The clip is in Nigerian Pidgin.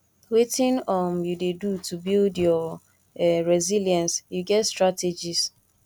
wetin um you dey do to build your um resilience you get strategies